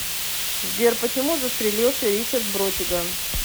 сбер почему застрелился ричард бротиган